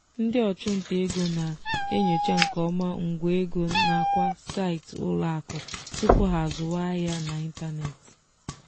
ndị ọchụnta ego na-enyocha nke ọma ngwa ego nakwa saịtị ụlọakụ tupu ha azụwa ahịa n'ịntanetị.